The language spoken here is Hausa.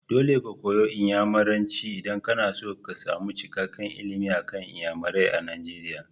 Dole ka koyi Inyamuranci idan kana son samun cikakken ilimi akan Inyamurai a Nigeria.